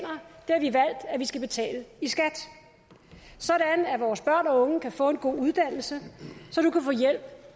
af at vi skal betale i skat sådan at vores børn og unge kan få en god uddannelse og så du kan få hjælp